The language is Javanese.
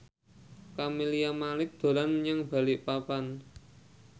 Camelia Malik dolan menyang Balikpapan